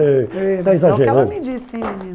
eh está exagerando. É o que ela me disse hein,